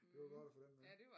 Det var godt at få den med